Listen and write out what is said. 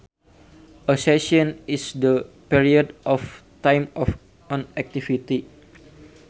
A session is the period of time of an activity